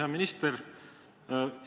Hea minister!